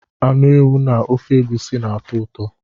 Anụ ewu na ofe egusi na-atọ ụtọ.